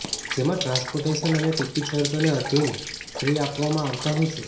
જેમાં ટ્રાન્સપોર્ટેશન અને ટીકીટ શરતોને આધિન ફ્રી આપવામાં આવતા હોય છે